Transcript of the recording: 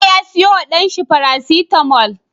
Bello ya siyo wa dan shi paracetamol